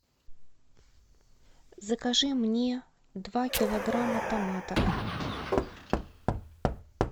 закажи мне два килограмма томатов